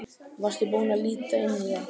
Varstu búinn að líta inn í það?